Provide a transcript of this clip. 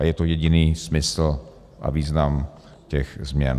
A je to jediný smysl a význam těch změn.